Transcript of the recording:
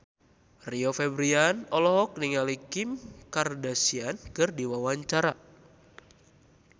Rio Febrian olohok ningali Kim Kardashian keur diwawancara